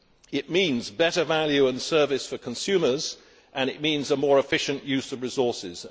It means better value and service for consumers, and it means a more efficient use of resources.